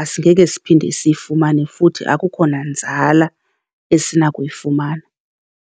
asingeke siphinde siyifumane futhi akukho nanzala esinakuyifumana.